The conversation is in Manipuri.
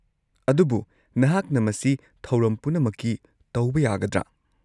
ꯑꯗꯨꯕꯨ ꯅꯍꯥꯛꯅ ꯃꯁꯤ ꯊꯧꯔꯝ ꯄꯨꯝꯅꯃꯛꯀꯤ ꯇꯧꯕ ꯌꯥꯒꯗ꯭ꯔꯥ?